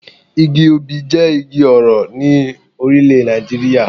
Igi obì jé Igi orò in Orílèdè Nàìjíríà